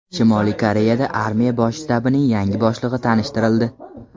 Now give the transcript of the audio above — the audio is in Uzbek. Shimoliy Koreyada armiya bosh shtabining yangi boshlig‘i tanishtirildi.